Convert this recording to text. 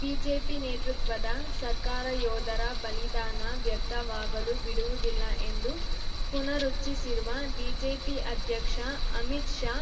BJP ನೇತೃತ್ವದ ಸರ್ಕಾರ ಯೋಧರ ಬಲಿದಾನ ವ್ಯರ್ಥವಾಗಲು ಬಿಡುವುದಿಲ್ಲ ಎಂದು ಪುನರುಚ್ಚಿಸಿರುವ ಬಿಜೆಪಿ ಅಧ್ಯಕ್ಷ ಅಮಿತ್‌ ಶಾ